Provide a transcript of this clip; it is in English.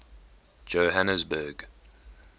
johhanesburg